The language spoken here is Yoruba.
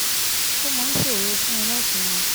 ó máa ń ṣòro fún un láti mọ